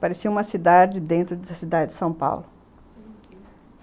Parecia uma cidade dentro da cidade de São Paulo, uhum.